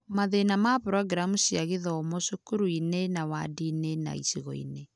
Mathĩna ma programu cia gĩthomo, cukuru-inĩ, na ward-inĩ na icigo-inĩ.